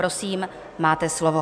Prosím, máte slovo.